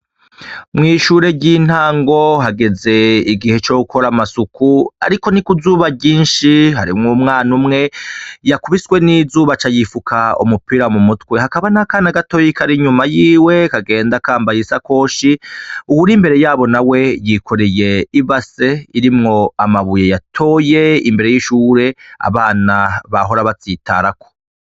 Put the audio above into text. Mwishure ryintango hageze igihe co gukora amasuku ,ariko ni ku zuba ryinshi ;harimwo umwana umwe yakubiswe nizuba aca yifuka umupira mu mutwe, hakaba nakandi kana kagenda kambaye ishakoshi, uwur’imbere naho yikoreye ibase irimwo amabuye yatoye amabuye abana bahora batsitarako.